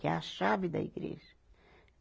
Que é a chave da igreja.